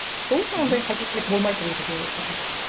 сол үшін ондай қажеттілік болмайды ол жерде ешқашан